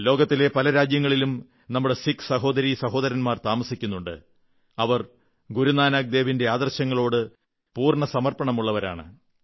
ലോകത്തിലെ പല രാജ്യങ്ങളിലും നമ്മുടെ സിഖ് സഹോദരീ സഹോദരന്മാർ താമസിക്കുന്നുണ്ട് അവർ ഗുരുനാനക് ദേവിന്റെ ആദർശങ്ങളോട് പൂർണ്ണ സമർപ്പണമുള്ളവരാണ്